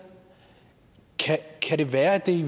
kan det være at det i